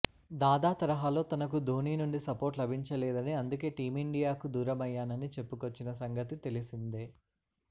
దాదా తరహాలో తనకు ధోని నుండి సపోర్ట్ లభించలేదని అందుకే టీమిండియాకు దూరమయ్యానని చెప్పుకొచ్చిన సంగతి తెలిసిందే